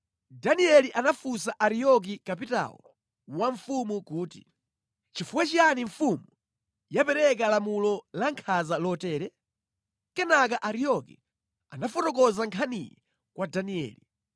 Danieli anafunsa Ariyoki kapitawo wa mfumu kuti, “Chifukwa chiyani mfumu yapereka lamulo lankhanza lotere?” Kenaka Ariyoki anafotokoza nkhaniyi kwa Danieli.